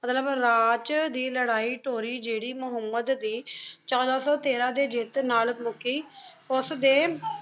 ਮਤਲਬ ਰਚ ਦੇ ਲਾਰੀ ਤੋਰੀ ਜੇਰੀ ਮੁਹਮ੍ਮਦ ਦੇ ਛੋਡਾ ਸੋ ਤੇਰਾ ਦੇ ਜੀਤ ਨਾਲ ਮੁਕੀ ਓਸ ਦੇ